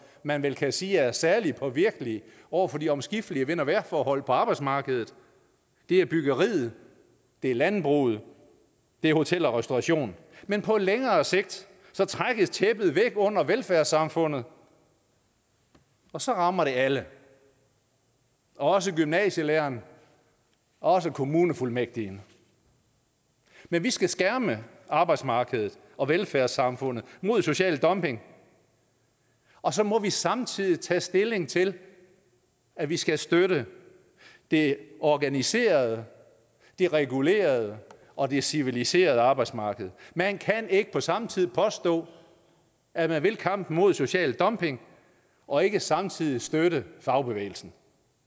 man vel kan sige er særlig påvirkelige over for de omskiftelige vind og vejrforhold på arbejdsmarkedet det er byggeriet det er landbruget det er hotel og restauration men på længere sigt trækkes tæppet væk under velfærdssamfundet og så rammer det alle også gymnasielæreren også kommunefuldmægtigen men vi skal skærme arbejdsmarkedet og velfærdssamfundet mod social dumping og så må vi samtidig tage stilling til at vi skal støtte det organiserede det regulerede og det civiliserede arbejdsmarked man kan ikke på samme tid påstå at man vil kampen mod social dumping og ikke samtidig støtte fagbevægelsen